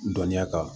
Dɔnniya kan